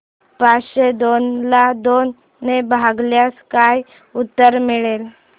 पाचशे दोन ला दोन ने भागल्यास काय उत्तर मिळेल